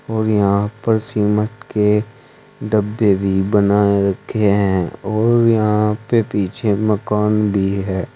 और यहां पर सीमेंट के डब्बे भी बनाए रखे हैं और यहां पे पीछे मकान भी है।